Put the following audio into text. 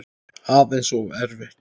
Aðeins of erfitt.